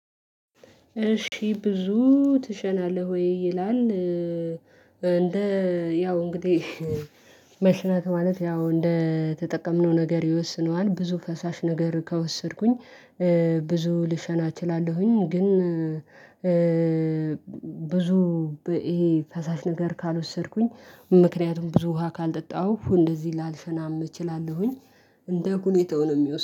እሺ ብዙ ትሸናለህ ወይ? ይላል እንደ ያው እንግዲህ መሽናት ማለት ያው እንደተጠቀምነው ነገር ይወስነዋል ብዙ ፈሳሽ ነገር ከወሰድኩኝ ብዙ ልሸና እችላለሁኝ። ግን ብዙ ይሄ ፈሳሽ ነገር ካልወሰድኩኝ ምክንያቱም ብዙ ውሃ ካልጠጣሁ እንደዚህ ላልሸናም እችላለሁኝ። እንደ ሁኔታው ነው የሚወስነው